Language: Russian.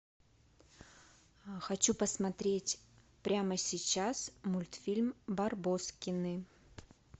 хочу посмотреть прямо сейчас мультфильм барбоскины